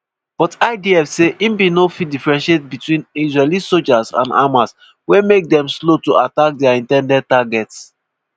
but idf say e bin no fit differentiate between israeli sojas and hamas wey make dem slow to attack dia in ten ded targets.